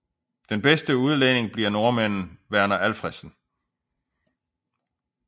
Bedste udlænding bliver nordmanden Verner Alfredsen